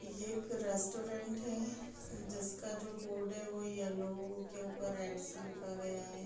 ये एक रेस्टोरेंट है जिसका जो बोर्ड है वो येल्लो के ऊपर रेड से लिखा हुआ है।